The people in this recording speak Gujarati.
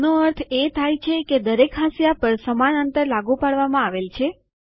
આનો અર્થ એ થાય છે કે દરેક હાંસિયા પર સમાન અંતર લાગુ પાડવામાં આવેલ છે